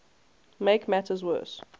make matters worse